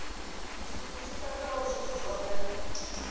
tshithu tshi katelaho zwithu zwohe